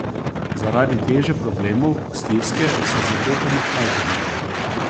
Zaradi teže problemov, stiske se zatekamo k alkoholu.